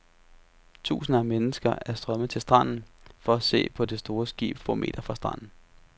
Tusinder af mennesker er strømmet til stranden for at se på det store skib få meter fra stranden.